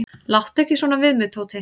"""Láttu ekki svona við mig, Tóti."""